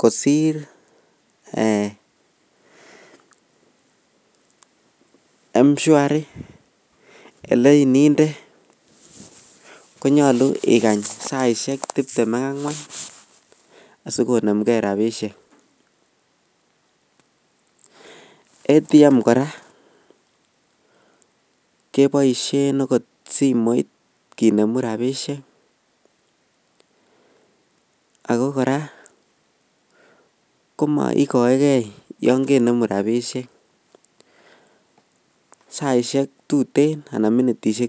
kosir m shwari eleninde konyalu ikany saishek tibtem ak angwan sikonem gei rabishek ATM koraa kebaishen okot simoit kenemu rabishek ako koraa komaikae gei yangenemu rabishek saishek tuten anan minitishek